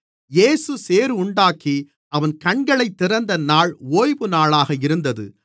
இயேசு சேறுண்டாக்கி அவன் கண்களைத் திறந்த நாள் ஓய்வுநாளாக இருந்தது